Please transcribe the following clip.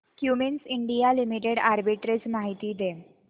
Cummins India limited arbitrage माहिती दे